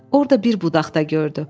Orda bir budaq da gördü.